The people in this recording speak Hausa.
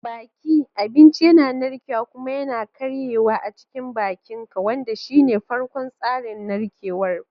Baki: Abinci yana narkewa kuma yana karyewa a cikin bakinka, wanda shine farkon tsarin narkewar ku.